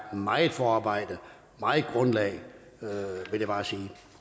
meget forarbejde meget grundlag vil jeg bare sige det